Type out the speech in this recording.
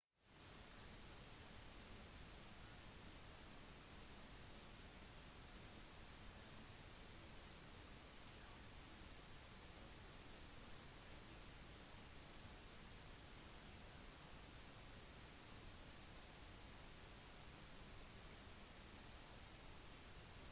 en presidentkommisjon anbefalte forrige måned den tidligere cep-oppsigelsen haitis valgkommisjon som en del av en pakke med tiltak for å drive landet mot nye valg